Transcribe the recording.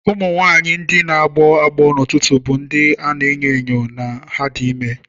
Ụmụ nwanyị ndị na-agbọ agbọ n'ụtụtụ bụ ndị a na-enyo enyo na ha dị ime.